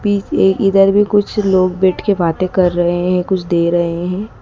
P ए इधर भी कुछ लोग बैठके बातें कर रहे हैं कुछ दे रहे हैं।